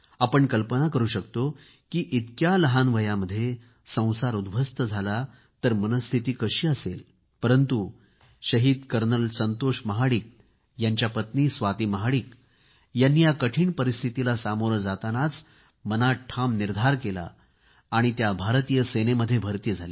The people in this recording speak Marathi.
आपण कल्पना करू शकतो की इतक्या लहान वयामध्ये संसार उद्ध्वस्त झाला तर मनःस्थिती कशी असेल परंतु शहीद कर्नल संतोष महाडिक यांची पत्नी स्वाती महाडिक यांनी या कठीण परिस्थितीला सामोरे जातानाच मनात ठाम निर्धार केला आणि त्या भारतीय सेनेमध्ये भर्ती झाल्या